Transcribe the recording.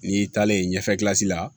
N'i taalen ɲɛfɛ la